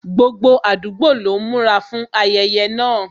Gbogbo àdúgbò lọ ń múra fún ayẹyẹ náà